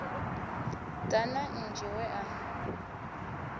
ḓa na nzhi we a